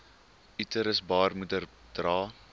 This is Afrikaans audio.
uterus baarmoeder dra